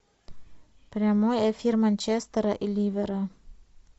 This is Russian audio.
прямой эфир манчестера и ливера